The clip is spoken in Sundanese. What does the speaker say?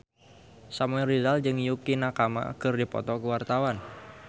Samuel Rizal jeung Yukie Nakama keur dipoto ku wartawan